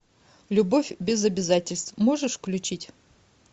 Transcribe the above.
любовь без обязательств можешь включить